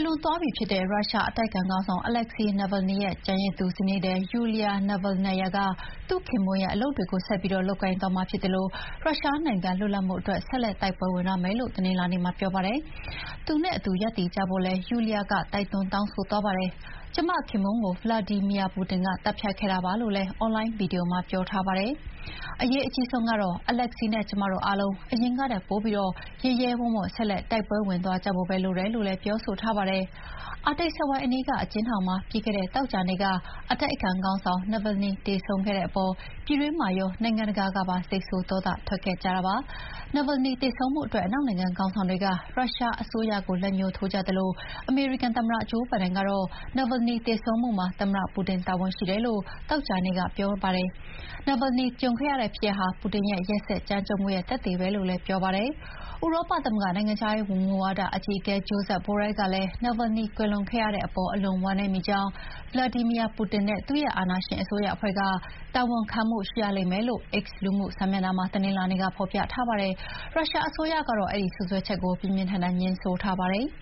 လွန်သွားပြီဖြစ်တဲ့ရုရှားအတိုက်အခံခေါင်းဆောင် Alexey Navalny ရဲ့ကျန်ရစ်သူဇနီးသည် Yulia Navalnaya က သူ့ခင်ပွန်းရဲ့ အလုပ်တွေဆက်ပြီး လုပ်ကိုင်သွားမှာဖြစ်သလို ရုရှားနိုင်ငံလွတ်လပ်မှုအတွက် ဆက်လက်တိုက်ပွဲဝင်သွားမယ်လို့ တနင်္လာနေ့မှာပြောပါတယ်။ သူနဲ့အတူရပ်တည်ကြပါလို့လည်း Yulia က တိုက်တွန်းတောင်းဆိုသွားပါတယ်။ "ကျမ ခင်ပွန်းကို ဗလာဒီမီယာ ပူတင်က သတ်ဖြတ်ခဲ့တာပါ" လို့လည်း အွန်လိုင်းဗွီဒီယိုမှာ ပြောထားပါတယ်။ အရေးအကြီးဆုံးကတော့ Alexey နဲ့ကျမတို့အားလုံး အရင်ကထက်ပိုပြီး ရဲရဲဝံ့ဝံ့ ဆက်လက်တိုက်ပွဲဝင်သွားကြဖို့ပဲလိုတယ်လို့လည်း ပြောဆိုထားပါတယ်။ အာတိတ်စက်ဝိုင်းအနီးက အကျဥ်းထောင်မှာ ပြီးခဲ့တဲ့သောကြာနေ့က အတိုက်အခံခေါင်းဆောင် Navalny သေဆုံးခဲ့တဲ့အပေါ် ပြည်တွင်းမှာရော နိုင်ငံတကာကပါ စိတ်ဆိုးဒေါသထွက်ခဲ့ကြတာပါ။ Navalny သေဆုံးမှုအတွက် အနောက်နိုင်ငံခေါင်းဆောင်တွေက ရုရှားအစိုးရကို လက်ညှိုးထိုးကြသလို အမေရိကန်သမ္မတ ဂျိုးဘိုင်ဒန်ကတော့ Navalny သေဆုံးမှုမှာ သမ္မတပူတင်တာဝန်ရှိတယ်လို့ သောကြာနေ့က ပြောပါတယ်။ Navalny ကြုံခဲ့ရဖြစ်ရပ်ဟာ ပူတင်ရဲ့ ရက်စက်ကြမ်းကြုတ်မှုရဲ့ သက်သေပဲလို့ပြောပါတယ်။ ဥရောပသမဂ္ဂနိုင်ငံခြားရေးမူဝါဒအကြီးအကဲ Josep Borrell ကလည်း Navalny ကွယ်လွန်ခဲ့ရတဲ့အပေါ် အလွန်ဝမ်းနည်းမိကြောင်း၊ Vladimir Putin နဲ့ သူ့ရဲ့အာဏာရှင်အစိုးရအဖွဲ့က တာဝန်ခံရလိမ့်မယ်လို့ X လူမှုစာမျက်နှာမှာ တနင်္လာနေ့က ဖော်ပြထားပါတယ်။ ရုရှားအစိုးရကတော့ စွပ်စွဲချက်ကို ပြင်းပြင်းထန်ထန်ငြင်းဆိုပါတယ်။